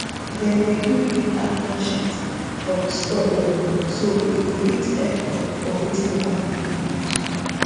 dem dey gree make animal shit um spoil well so e go fit help um for wetin farm dey produce